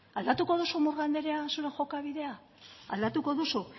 aldatuko duzu murga anderea zure jokabidea aldatuko duzu